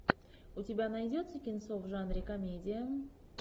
у тебя найдется кинцо в жанре комедия